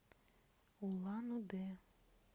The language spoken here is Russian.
улан удэ